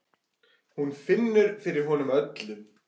Hún finnur fyrir honum öllum.